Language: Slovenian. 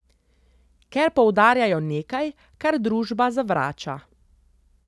Ker poudarjajo nekaj, kar družba zavrača.